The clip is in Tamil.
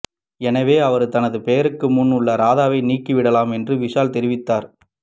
எனவே அவர் தனது பெயருக்கு முன் உள்ள ராதாவை நீக்கிவிடலாம் என்று விஷால் தெரிவித்திருந்தார்